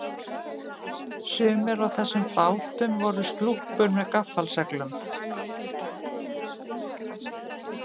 Sumir af þessum bátum voru slúppur með gaffalseglum.